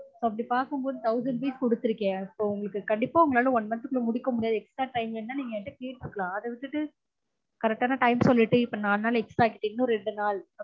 அப்டி பார்க்கும் போது thousand piece கொடுத்துருக்கன் அப்பொ உங்களுக்கு கண்டீப்பா உங்களாலா one month க்குள்ள முடிக்க முடியாது extra time வேணா நீங்க என் கிட்ட கேட்டிருக்கலா அத விட்டுட்டு correct டான time சொல்லிட்டு இப்ப நாலு நாள் extra ஆகிட்டு இன்னும் ரெண்டு நாள்